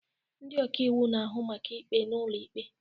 Ndị ọka iwu na-ahụ maka ikpe n'ụlọ ikpe